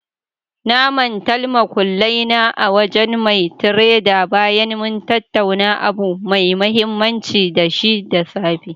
Na mantal muƙullai na a wajen mai tredar bayan mun tattauna abu mai mahimmanci da shi da safe.